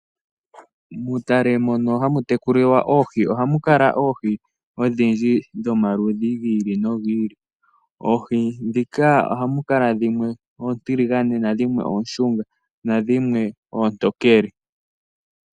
Muutale mono hamu tekulilwa oohi ohamu kala oohi odhindji dhomaludhi gi ili nogi ili. Oohi dhika ohamu kala dhimwe oontiligane nadhimwe oonshunga oshowo dhimwe oontokele.